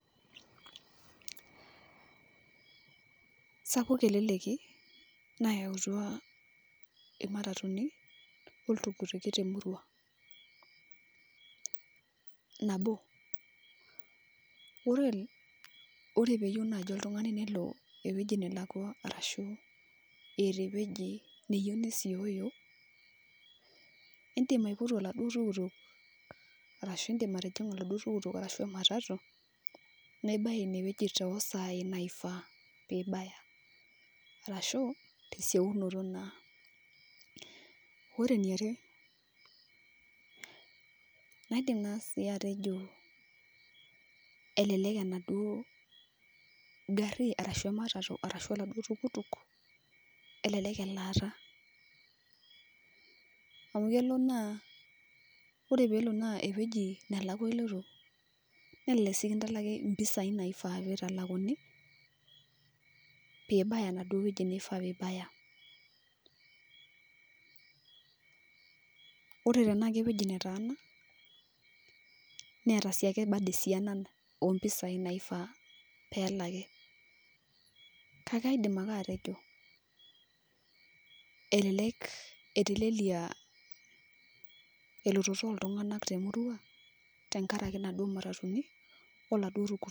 Sapuk eleleki nayautua imatatuni, oltukutuki temurua. Nabo, ore peyieu naji oltung'ani nelo ewueji nelakwa arashu eeta ewueji neyieu nesioyo, idim aipotu oladuo tukutuk, arashu idim atijing'a aladuo tukutuk arashu ematatu, nibaya inewueji tosai naifaa pibaya. Arashu, esieunoto naa. Ore eniare, naidim na si atejo elelek enaduo garri arashu ematatu, arashu oladuo tukutuk, elelek elaata. Amu kelo naa, ore pelo naa ewueji nelakwa iloito, nelelek si kintalaki impisai naifaa pitalakuni, pibaya enaduo wueji nifaa pibaya. Ore tenaa kewueji netaana, neeta siake bado esiana ompisai naifaa pelaki. Kake aidim ake atejo, elelek etelelia elototo oltung'anak temurua, tenkaraki naduo matatuni, oladuo tukutuki.